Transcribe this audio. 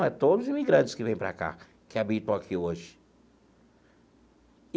É para todos os imigrantes que vêm para cá, que habitam aqui hoje.